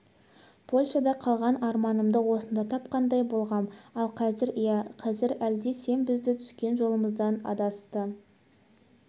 польшада қалған арманымды осында тапқандай болғам ал қазір иә қазір әлде сен бізді түскен жолымыздан адасты